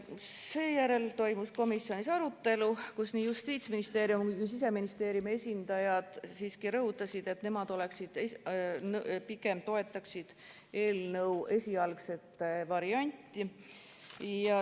Seejärel toimus komisjonis arutelu, kus nii Justiitsministeeriumi kui ka Siseministeeriumi esindajad rõhutasid, et nemad pigem toetaksid eelnõu esialgset varianti.